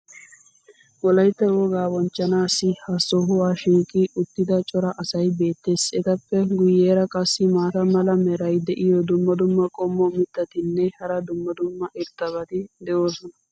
wolaytta wogaa bonchchanaaassi ha sohuwaa shiiqi uttida cora asay beetees. etappe guyeera qassi maata mala meray diyo dumma dumma qommo mitattinne hara dumma dumma irxxabati de'oosona.